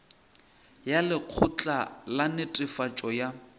ya lekgotla la netefatšo ya